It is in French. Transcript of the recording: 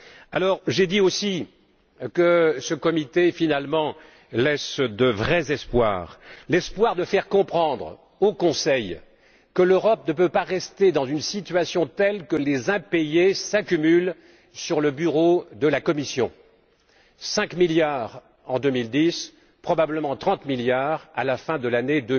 Alors, j'ai dit aussi que ce comité laissait finalement de vrais espoirs. Il laisse l'espoir de faire comprendre au Conseil que l'Europe ne peut pas rester dans une situation telle que les impayés s'accumulent sur le bureau de la Commission 5 milliards en 2010, probablement 30 milliards à la fin de l'année